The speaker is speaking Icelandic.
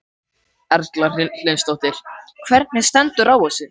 Erla Hlynsdóttir: Hvernig stendur á þessu?